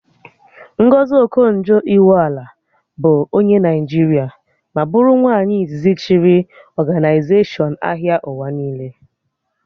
Ngọzi Okonjo Iweala bụ onye Naịjiria ma bụrụ nwaanyị izizi chịrị ọganaizashọn ahịa ụwa niile